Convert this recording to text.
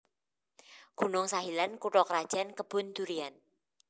Gunung Sahilan kutha krajan Kebun Durian